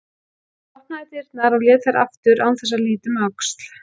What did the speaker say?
Hún opnaði dyrnar og lét þær aftur án þess að líta um öxl.